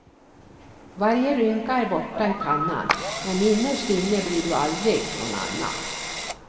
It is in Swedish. Varje rynka är borta i pannan, men innerst inne blir du aldrig någon annan.